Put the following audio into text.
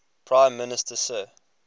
prime minister sir